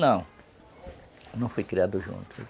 Não, não fui criado junto.